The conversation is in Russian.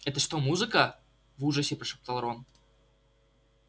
это что музыка в ужасе прошептал рон